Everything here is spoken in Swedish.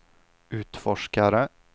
utforskare